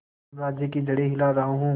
साम्राज्य की जड़ें हिला रहा हूं